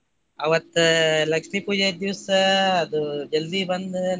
ಅವತ್ತ ಲಕ್ಷ್ಮೀ ಪೂಜಾದ ದಿವ್ಸ ಅದು ಜಲ್ದಿ ಬಂದ್.